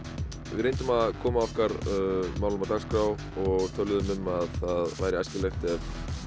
við reyndum að koma okkar málum á dagskrá og töluðum um að það væri æskilegt ef